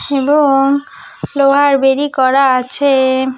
এব-অং লোহার বেড়ি করা আছে-এ।